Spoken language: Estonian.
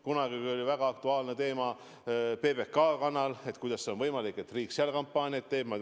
Kunagi oli väga aktuaalne teema PBK kanal: kuidas on võimalik, et riik seal kampaaniaid teeb?